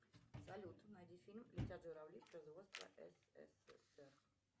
салют найди фильм летят журавли производства ссср